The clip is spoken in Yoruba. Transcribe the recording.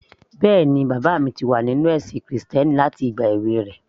Bẹ́ẹ̀ni, bàbá mi ti wà nínú ẹ̀sìn krìstẹ́nì láti ìgbà èwe rẹ̀